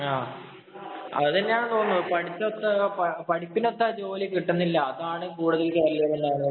അതുതന്നെയാണെന്നു തോന്നുന്നു. പഠിത്തൊത്ത പഠിപ്പിനൊത്ത ജോലി കിട്ടുന്നില്ല. അതാണ് കൂടുതല്‍ കരിയറില്‍